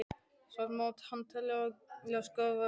Samt má hann teljast gáfaður maður.